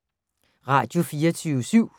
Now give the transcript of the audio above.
Radio24syv